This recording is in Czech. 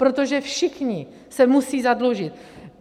Protože všichni se musí zadlužit.